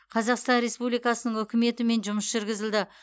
қазақстан республикасының үкіметімен жұмыс жүргізілді